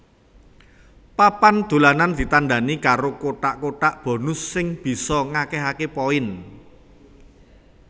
Papan dolanan ditandani karo kotak kotak bonus sing bisa ngakehake poin